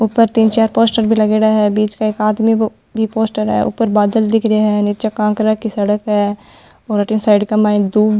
ऊपर तीन चार पोस्टर भी लागेडा है बीच में एक आदमी बो बि पोस्टर ऊपर बादल दिख रहा है नीच कांकरा की सड़क है और अठन साइड के माइन दूं --